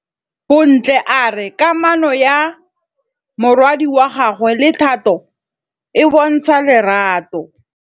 Bontle a re kamanô ya morwadi wa gagwe le Thato e bontsha lerato.